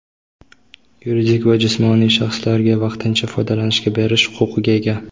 yuridik va jismoniy shaxslarga vaqtincha foydalanishga berish huquqiga ega.